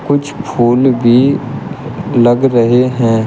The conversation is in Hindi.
कुछ फूल भी लग रहे हैं।